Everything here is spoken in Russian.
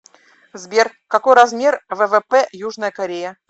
сбер какой размер ввп южная корея